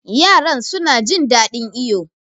Yaran suna jin ɗaɗin iyo.